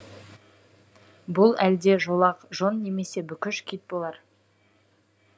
бұл әлде жолақ жон немесе бүкіш кит болар